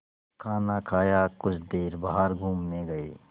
खाना खाया कुछ देर बाहर घूमने गए